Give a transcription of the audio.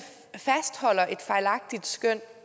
fastholder et fejlagtigt skøn